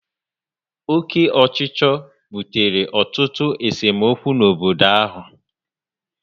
Oke ochicho butere ọtụtụ esemokwu n'obodo áhù